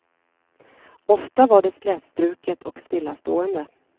Ofta var det slätstruket och stillastående.